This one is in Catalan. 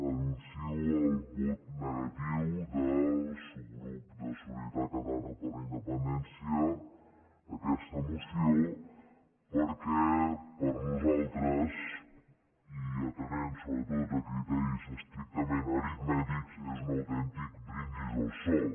anuncio el vot negatiu del subgrup de solidaritat catalana per la independència a aquesta moció perquè per a nosaltres i atenent sobretot a criteris estrictament aritmètics és un autèntic brindis al sol